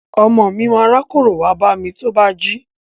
Ọmọ mi ma rákórò wá bámi tó bá jí.